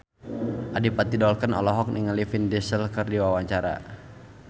Adipati Dolken olohok ningali Vin Diesel keur diwawancara